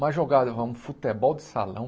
mas jogava um futebol de salão.